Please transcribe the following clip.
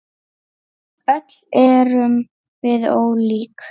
Öll erum við ólík.